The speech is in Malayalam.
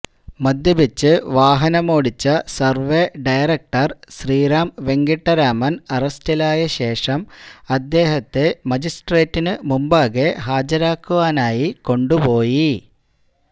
മദ്യപിച്ച് വാഹനമോടിച്ച സർവ്വെ ഡയറക്ടർ ശ്രീറാം വെങ്കിട്ടരാമൻ അറസ്റ്റിലായശേഷം അദ്ദേഹത്തെ മജിസ്ട്രേറ്റിനുമുമ്പാകെ ഹാജരാക്കാനായി കൊണ്ടുപോയി